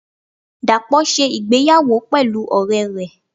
dapo se ìgbéyàwó pelú ore re.